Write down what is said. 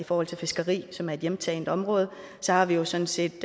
forhold til fiskeri som er et hjemtaget område så har vi jo sådan set